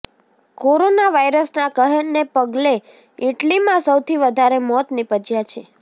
corona વાયરસના કહેરને પગલે ઈટલીમાં સૌથી વધારે મોત નિપજ્યા છે